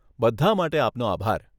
બધાં માટે આપનો આભાર.